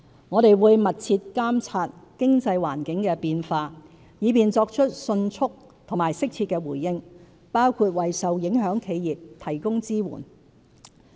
我們會密切監察經濟環境的變化，以便作出迅速和適切的回應，包括為受影響企業提供支援。